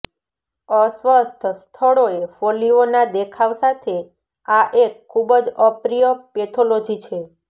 અસ્વસ્થ સ્થળોએ ફોલ્લીઓના દેખાવ સાથે આ એક ખૂબ જ અપ્રિય પેથોલોજી છે